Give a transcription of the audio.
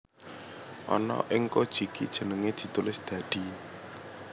Ana ing Kojiki jenenge ditulis dadi